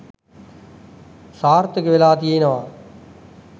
සාර්ථක වෙලා තියෙනවා